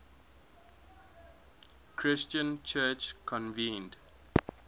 christian church convened